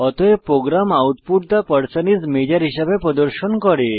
অতএব program output the person is major হিসাবে প্রদর্শন করে